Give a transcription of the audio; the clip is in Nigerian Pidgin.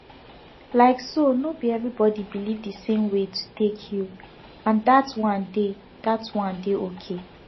like so no be everybody believe the same way to take heal and that one dey that one dey okay